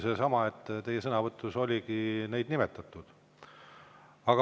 Sellepärast, et teie sõnavõtus oli neid nimetatud.